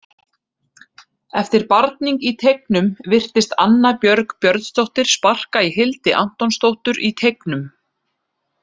Eftir barning í teignum virtist Anna Björg Björnsdóttir sparka í Hildi Antonsdóttur í teignum.